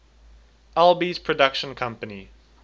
alby's production company